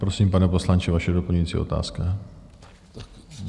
Prosím, pane poslanče, vaše doplňující otázka.